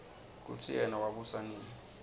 kutsi yena wabusa nini